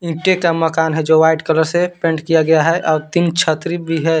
ईंटे का मकान है जो वाइट कलर से पेंट किया गया है और तीन छतरी भी है।